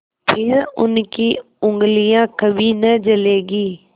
फिर उनकी उँगलियाँ कभी न जलेंगी